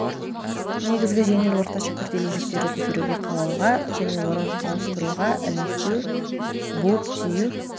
негізгі жеңіл орташа күрделі жүктерді көтеруге қалауға және орын ауыстыруға ілмектеу буып-түю